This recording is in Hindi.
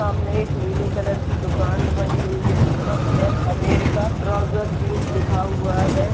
सामने एक नीले कलर की दुकान बनी हुई है जिस पर पैन अमेरिका ट्राउजर जींस लिखा हुआ है।